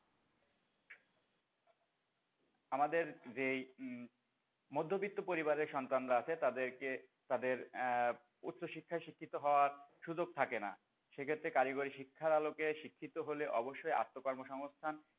আমাদের যেই উম মধ্যবিত্ত পরিবারের সন্তানরা আছে তাদের কে তাদের আহ উচ্চশিক্ষায় শিক্ষিত হওয়ার সুযোগ থাকে না সে ক্ষেত্রে কারিগরি শিক্ষার আলোকে শিক্ষিত হলে অবশ্যই আত্মকর্মসংস্থান,